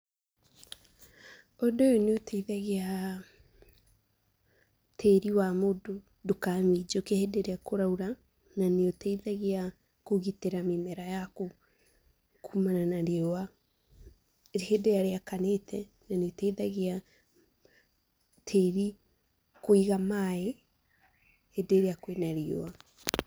Ũndũ ũyũ nĩ ũteithagia, tĩĩri wa mũndũ ndũkaminjũke hĩndĩ ĩrĩa kũraura na nĩ ũteithagia, kũgĩtĩra mĩmera yaku, kumana na riũa, hĩndĩ ĩrĩa rĩakanĩte na nĩ ĩteithagia, tĩri kũiga maĩ hĩndĩ ĩrĩa kwĩna riũa.